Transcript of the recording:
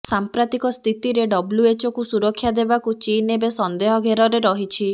ସାମ୍ପ୍ରତିକ ସ୍ଥିତିରେ ଡବ୍ଲ୍ୟୁଓଚକୁ ସୁରକ୍ଷା ଦେବାକୁ ଚୀନ ଏବେ ସନ୍ଦେହ ଘେରରେ ରହିଛି